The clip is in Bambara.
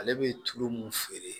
Ale bɛ tulu mun feere